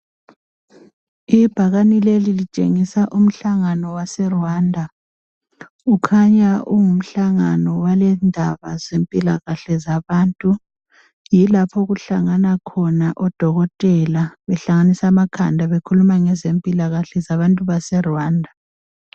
Ibhakane leli litshengisa umhlangano waseRwanda. Ukhanya ungumhlangano wendaba zempilakahle zabantu . Yilapho okuhlangana khona odokotela behlanganisa amakhanda bekhuluma ngazempilakahle zabantu baseRwanda.